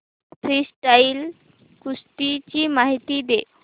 freestyle कुस्ती ची माहिती दे